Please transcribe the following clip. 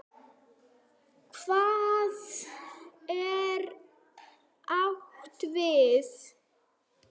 Hvað er átt við?